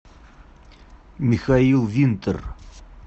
михаил винтер